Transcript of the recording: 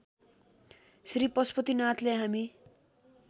श्री पशुपतिनाथले हामी